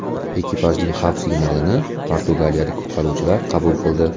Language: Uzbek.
Ekipajning xavf signalini portugaliyalik qutqaruvchilar qabul qildi.